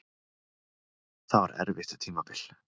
Það var erfitt tímabil.